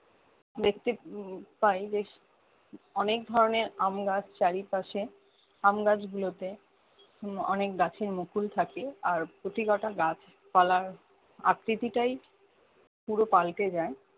দেখতে উম পাই বেশ অনেক ধরণের আম গাছ চারিপাশে আমগাছ গুলো তে উম অনেক গাছের মুকুল থাকে আর প্রতীকটা গাছ পালার আকৃতি টাই পুরো পাল্টে যায়